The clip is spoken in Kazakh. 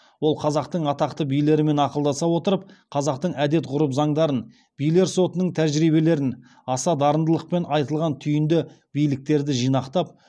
ол қазақтың атақты билерімен ақылдаса отырып қазақтың әдет ғұрып заңдарын билер сотының тәжірибелерін аса дарындылықпен айтылған түйінді биліктерді жинақтап